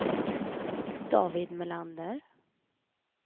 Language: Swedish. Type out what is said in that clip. David Melander